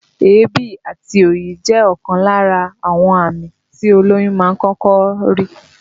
Èébì àti òyì jẹ́ ọ̀kan lára àwọn àmì tí olóyún máa ń kọ́kọ́ rí